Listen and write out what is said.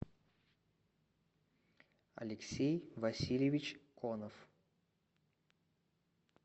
алексей васильевич конов